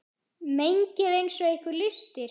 Mengið eins og ykkur lystir.